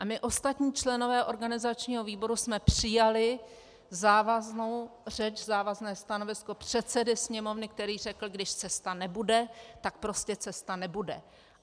A my ostatní členové organizačního výboru jsme přijali závaznou řeč, závazné stanovisko předsedy Sněmovny, který řekl, když cesta nebude, tak prostě cesta nebude.